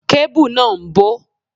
Kébù náà ń bó.